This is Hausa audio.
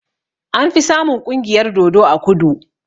Anfi samun ƙungiyar dodo a kudu